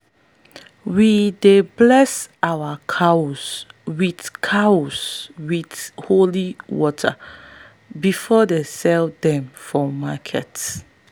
we dey bless our cows with cows with holy water before them sell dem for market.